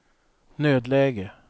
nödläge